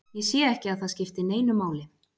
Ég sé ekki að það skipti neinu máli.